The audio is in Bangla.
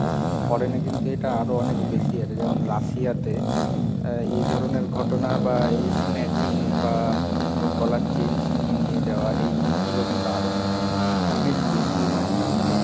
foreign এ কিন্তু এটা আরো অনেক বেশি আছে, যেমন রাশিয়াতে এই ধরনের ঘটনা বা এই snatching বা গলার চেন ছিনিয়ে নিয়ে যাওয়া এই জিনিস গুলো কিন্তু আরো অনেক বেশি হয় Russia তে।